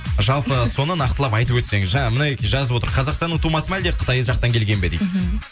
жалпы соны нақтылап айтып өтсең жаңағы мына жазып отыр қазақстанның тумасы ма әлде қытай жақтан келген бе дейді мхм